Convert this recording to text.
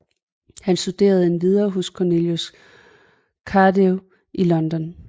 Han studerende endvidere hos Cornelius Cardew i London